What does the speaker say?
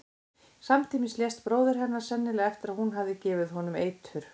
Samtímis lést bróðir hennar, sennilega eftir að hún hafði gefið honum eitur.